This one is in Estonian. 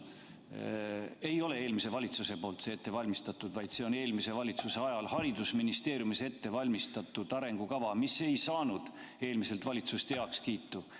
See arengukava ei ole mitte eelmises valitsuses ette valmistatud, vaid see on eelmise valitsuse ajal haridusministeeriumis ette valmistatud arengukava, mis ei saanud eelmiselt valitsuselt heakskiitu.